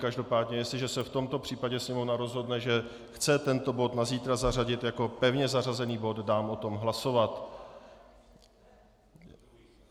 Každopádně jestliže se v tomto případě Sněmovna rozhodne, že chce tento bod na zítra zařadit jako pevně zařazený bod, dám o tom hlasovat.